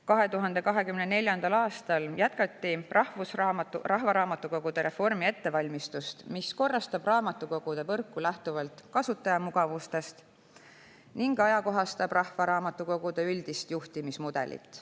2024. aastal jätkati rahvaraamatukogude reformi ettevalmistust, mis lähtuvalt kasutajamugavusest korrastab raamatukoguvõrku ning ajakohastab rahvaraamatukogude üldist juhtimismudelit.